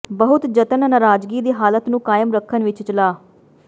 ਬਹੁਤ ਜਤਨ ਨਾਰਾਜ਼ਗੀ ਦੀ ਹਾਲਤ ਨੂੰ ਕਾਇਮ ਰੱਖਣ ਵਿੱਚ ਚਲਾ